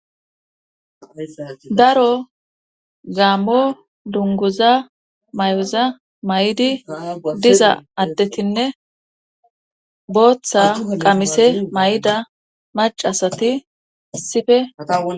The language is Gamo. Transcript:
Daro zaammo dungoza may'oza may'idi diza addetinne booththa qamise may'ida macasati sifea.